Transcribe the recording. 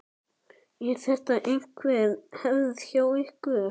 Er þetta einhver hefð hjá ykkur?